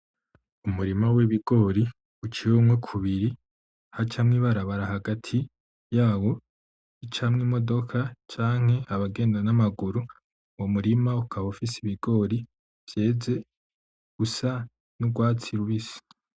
Umurima w,ibigori uciyemo kubiri hacamwo ibarabara hagati yawo ucamwo imodoka canke abagenda namaguru, uwo murima ukaba ufise ibigori vyeze bisa nkurwatsi rubisi .